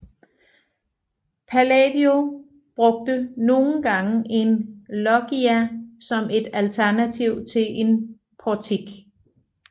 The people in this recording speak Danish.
Palladio brugte nogle gange en loggia som et alternativ til en portik